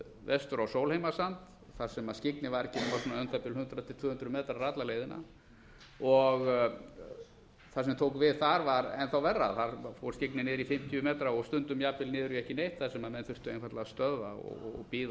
vestur á sólheimasand þar skyggni var ekki nema um það bil hundrað til tvö hundruð metrar alla leiðina og hvernig tók við þar var enn þá verra þar fór skyggnið niður í fimmtíu metra og stundum jafnvel niður í ekki neitt þar sem menn þurftu einfaldlega að stöðva